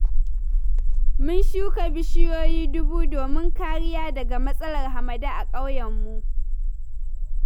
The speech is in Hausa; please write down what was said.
Mun shuka bishiyoyi dubu, domin kariya daga matsalar hamada a ƙauyenmu